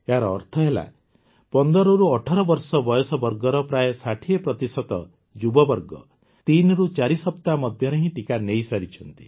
ଏହାର ଅର୍ଥ ହେଲା ୧୫ରୁ ୧୮ ବର୍ଷ ବୟସ ବର୍ଗର ପ୍ରାୟ ୬୦ ଯୁବବର୍ଗ ତିନିରୁ ଚାରି ସପ୍ତାହ ମଧ୍ୟରେ ହିଁ ଟିକା ନେଇସାରିଛନ୍ତି